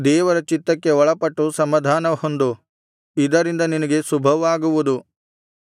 ದೇವರ ಚಿತ್ತಕ್ಕೆ ಒಳಪಟ್ಟು ಸಮಾಧಾನ ಹೊಂದು ಇದರಿಂದ ನಿನಗೆ ಶುಭವಾಗುವುದು